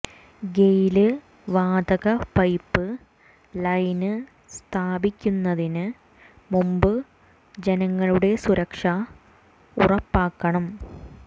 Gayle വാതക pipeline സ്ഥാപിക്കുന്നതിന് മുമ്പ് ജനങ്ങളുടെ സുരക്ഷ ഉറപ്പാക്കണം